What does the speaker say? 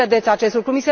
Cum vedeți acest lucru?